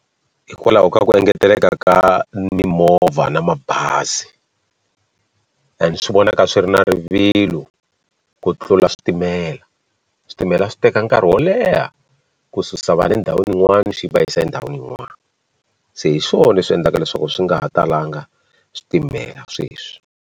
Hikwalaho ka ku engeteleka ka mimovha na mabazi and swi vonaka swi ri na rivilo ku tlula switimela switimela swi teka nkarhi wo leha ku susa vanhu endhawini yin'wana swi va yisa endhawini yin'wana se hi swona leswi endlaka leswaku swi nga ha talanga switimela sweswi.